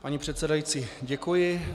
Paní předsedající, děkuji.